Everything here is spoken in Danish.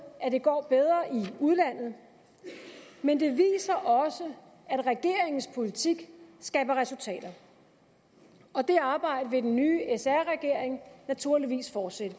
at det går bedre i udlandet men det viser også at regeringens politik skaber resultater og det arbejde vil den nye sr regering naturligvis fortsætte